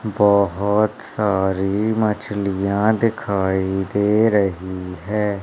बहोत सारी मछलियां दिखाई दे रही हैं।